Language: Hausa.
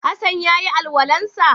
Hassan ya yi alwalan sa?